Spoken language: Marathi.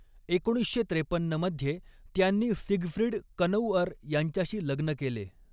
एकोणीसशे त्रेपन्नमध्ये त्यांनी सिगफ्रीड कनौअर यांच्याशी लग्न केले.